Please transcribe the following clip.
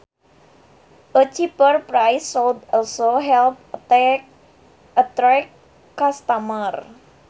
A cheaper price should also help attract customers